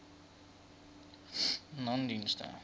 nonedienste